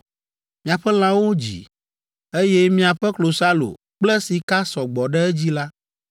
miaƒe lãwo dzi, eye miaƒe klosalo kple sika sɔ gbɔ ɖe edzi la,